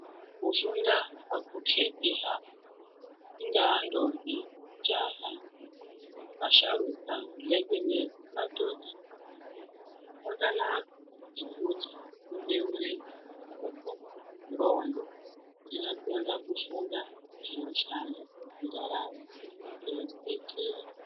Kufunda akukheti hako, ingaa ndombi, jaha, vasharuka ,nzekenezi, madhodha, kwakanaka ngekuti kunobeure pfungwa, ndxondo, dzinokona kufunga zvinoshanda mundaramo zvinotidetsera.